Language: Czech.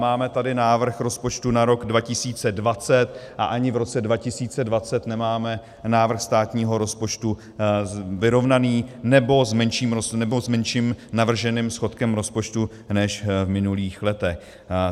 Máme tady návrh rozpočtu na rok 2020 a ani v roce 2020 nemáme návrh státního rozpočtu vyrovnaný, nebo s menším navrženým schodkem rozpočtu než v minulých letech.